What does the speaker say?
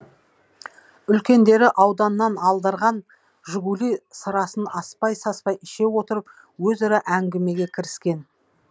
үлкендері ауданнан алдырған жигули сырасын аспай саспай іше отырып өзара әңгімеге кіріскен